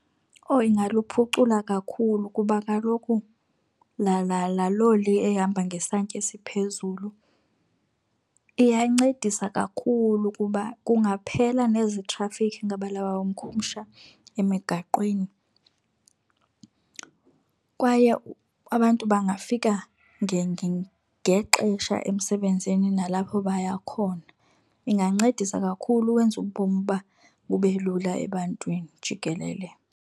Owu, ingaluphucula kakhulu, kuba kaloku laa loli ehamba ngesantya esiphezulu iyancedisa kakhulu, kuba kungaphela nezi traffic, ngabula makhumsha, emigaqweni. Kwaye abantu bangafika ngexesha emsebenzini nalapho baya khona. Ingancedisa kakhulu ukwenza ubomi uba bube lula ebantwini jikelele.